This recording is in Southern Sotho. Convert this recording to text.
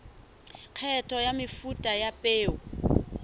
kgetho ya mefuta ya peo